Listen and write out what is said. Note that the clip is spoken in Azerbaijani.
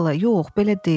yox, belə deyil,